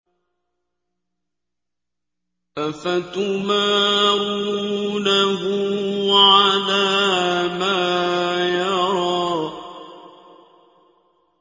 أَفَتُمَارُونَهُ عَلَىٰ مَا يَرَىٰ